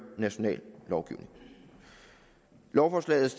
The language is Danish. national lovgivning lovforslaget